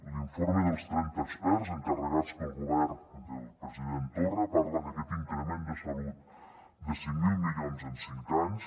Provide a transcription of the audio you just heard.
l’informe dels trenta experts encarregat pel govern del president torra parla d’aquest increment de salut de cinc mil milions en cinc anys